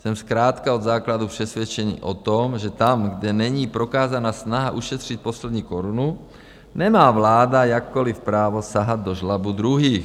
Jsem zkrátka od základu přesvědčen o tom, že tam, kde není prokázána snaha ušetřit poslední korunu, nemá vláda jakékoliv právo sahat do žlabu druhých.